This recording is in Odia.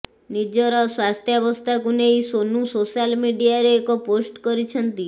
ନିଜର ସ୍ୱାସ୍ଥ୍ୟବସ୍ତାକୁ ନେଇ ସୋନୁ ସୋଶାଲ୍ ମିଡିଆରେ ଏକ ପୋଷ୍ଟ କରିଛନ୍ତି